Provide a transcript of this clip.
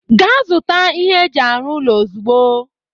Ga zụta ihe eji arụ ụlọ ozigbo!